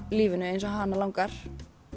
lífinu eins og hana langar